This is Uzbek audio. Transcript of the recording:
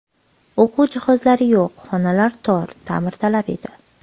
O‘quv jihozlari yo‘q, xonalar tor, ta’mirtalab edi.